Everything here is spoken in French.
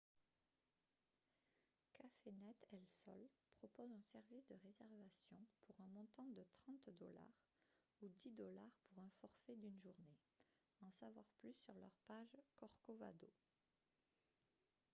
cafenet el sol propose un service de réservation pour un montant de 30 dollars ou 10 dollars pour un forfait d'une journée en savoir plus sur leur page corcovado